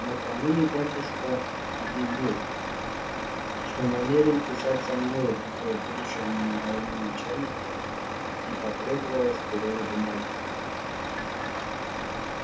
накануне батюшка объявил что намерен писать со мною к будущему моему начальнику и потребовалось перо и бумаги